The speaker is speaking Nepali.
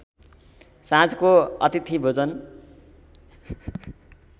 साँझको अतिथि भोजन